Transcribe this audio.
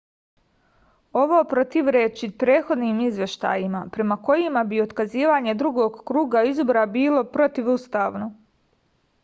ovo protivreči prethodnim izveštajima prema kojima bi otkazivanje drugog kruga izbora bilo protivustavno